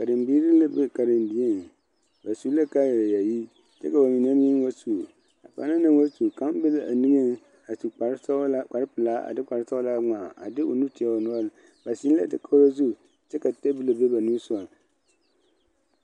Karenbiiri la be karendieŋ ba su la kaayayaayi kyɛ ka ba mine meŋ wa su a banaŋ na wa su kaŋa bebe a niŋeŋ a su kparesɔglaa kparepelaa a de kparesɔglaa ŋmaa a de o nu teɛ o noɔreŋ ba zeŋ la dakogi zu kyɛ ka tabol be ba nimisogaŋ.